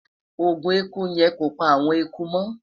ògún ẹkú yen kọ pa awọn ẹkú mo